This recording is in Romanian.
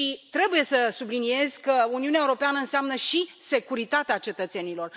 Trebuie să subliniez că Uniunea Europeană înseamnă și securitatea cetățenilor.